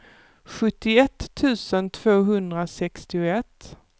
sjuttioett tusen tvåhundrasextioett